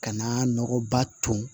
Ka na nɔgɔba ton